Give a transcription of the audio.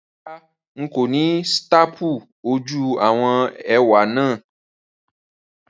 Rárá, n kò ni staple ojú àwon ẹwé náà